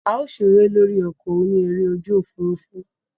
A o sere lori oko oni ere oju ofurufu.